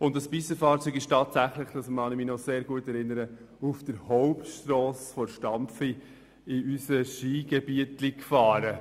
Dieses Pistenfahrzeug ist tatsächlich auf der Hauptstrasse in unser kleines Skigebiet gefahren.